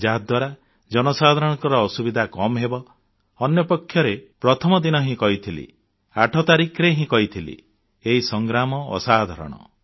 ଯାହାଦ୍ୱାରା ଜନସାଧାରଣଙ୍କ ଅସୁବିଧା କମ୍ ହେବ ଅନ୍ୟପକ୍ଷରେ ପ୍ରଥମ ଦିନ ହିଁ କହିଥିଲି 8 ତାରିଖରେ ହିଁ କହିଥିଲି ଏହି ସଂଗ୍ରାମ ଅସାଧାରଣ